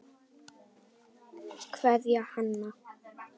Kveðja, Hanna.